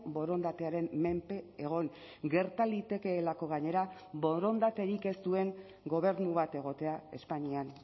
borondatearen menpe egon gerta litekeelako gainera borondaterik ez duen gobernu bat egotea espainian